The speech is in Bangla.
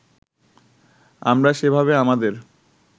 আমরা সেভাবে আমাদের